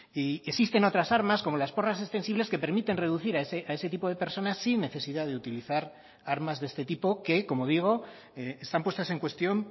y existen otras armas como las porras extensibles que permiten reducir a ese tipo de personas sin necesidad de utilizar armas de este tipo que como digo están puestas en cuestión